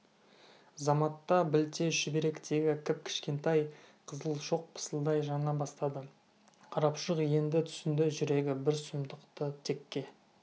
заматта білте шүберектегі кіп-кішкентай қызыл шоқ пысылдай жана бастады қарапұшық енді түсінді жүрегі бір сұмдықты текке